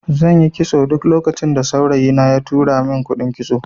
Zanyi kitson duk lokacin da saurayi na ya tura mun kuɗin kitso